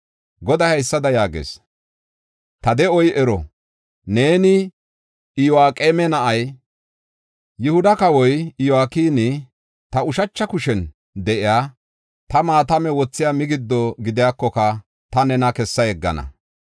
Goday haysada yaagees: “Ta de7oy ero! Neeni Iyo7aqeema na7ay, Yihuda kawoy Yo7akini, ta ushacha kushen de7iya ta attamiya migiddo gidiyakoka ta nena kessa yeggana.